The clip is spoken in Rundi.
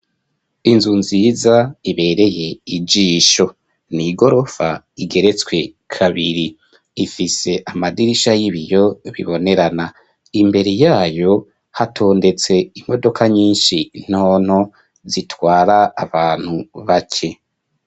Inzu nziza ibereye ijisho. N'igirofa igeretswe kabiri ,ifise amadirisha y'ibiyo bibonerana . Imbere yayo hatondetse imodoka nyinshi ntonto zitwara abantu bake.